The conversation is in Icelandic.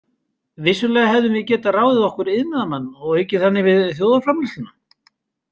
Vissulega hefðum við getað ráðið okkur iðnaðarmann og aukið þannig við þjóðarframleiðsluna.